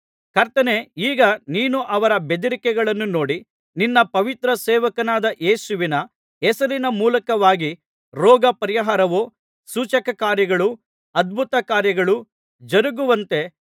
ಕರ್ತನೇ ಈಗ ನೀನು ಅವರ ಬೆದರಿಕೆಗಳನ್ನು ನೋಡಿ ನಿನ್ನ ಪವಿತ್ರ ಸೇವಕನಾದ ಯೇಸುವಿನ ಹೆಸರಿನ ಮೂಲಕವಾಗಿ ರೋಗ ಪರಿಹಾರವೂ ಸೂಚಕಕಾರ್ಯಗಳೂ ಅದ್ಭುತಕಾರ್ಯಗಳೂ ಜರಗುವಂತೆ